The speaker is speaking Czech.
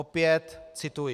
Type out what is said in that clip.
Opět cituji.